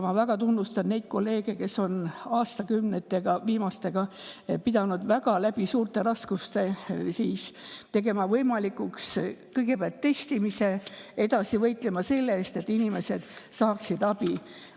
Ma väga tunnustan kolleege, kes on viimaste aastakümnete jooksul pidanud läbi väga suurte raskuste tegema kõigepealt võimalikuks testimise ja edasi võitlema selle eest, et inimesed saaksid abi.